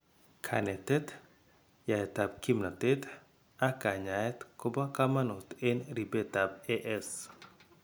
Kaanetet, yaetab kimnatet, ak kanyaayet koobo kaamanut en ripetab AS